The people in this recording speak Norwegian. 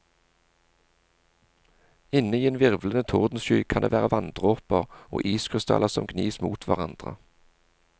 Inne i en virvlende tordensky kan det være vanndråper og iskrystaller som gnis mot hverandre.